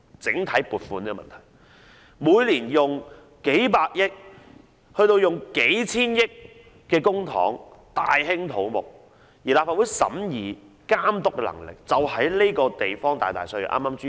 政府每年動用數百億元甚至數千億元的公帑大興土木，而立法會對此的審議和監督能力卻大大削弱。